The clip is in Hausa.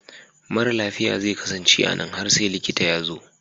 Mara lafiya zai kasance a nan har sai likita ya zo.